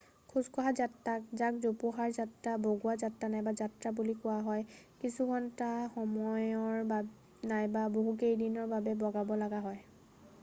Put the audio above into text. খোজকঢ়া যাত্ৰাত যাক 'জোপোহাৰ যাত্ৰা' 'বগোৱা যাত্ৰা' নাইবা 'যাত্ৰা' বুলি কোৱা হয় কিছুঘণ্টা সময়ৰ নাইবা বহুকেইদিনৰ বাবে বগাব লগা হয়।